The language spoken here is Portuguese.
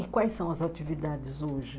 E quais são as atividades hoje?